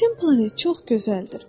Sizin planet çox gözəldir.